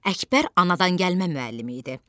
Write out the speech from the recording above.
Əkbər anadangəlmə müəllimi idi.